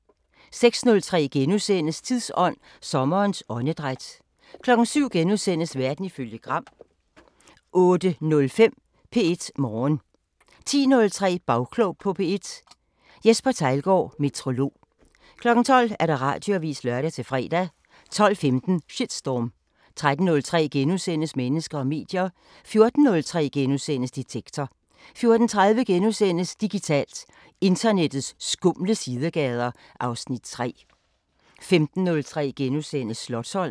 06:03: Tidsånd: Sommerens åndedræt * 07:03: Verden ifølge Gram * 08:05: P1 Morgen 10:03: Bagklog på P1: Jesper Theilgaard, meteorolog. 12:00: Radioavisen (lør-fre) 12:15: Shitstorm 13:03: Mennesker og medier * 14:03: Detektor * 14:30: Digitalt: Internettets skumle sidegader (Afs. 3)* 15:03: Slotsholmen *